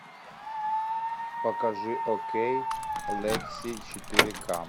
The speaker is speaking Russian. покажи окей лекси четыре ка